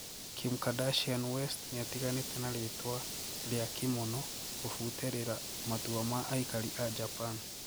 Kim Kardashian West niatiganite na ritwa ria Kimono kufuterira matua ma aikari aa Japan.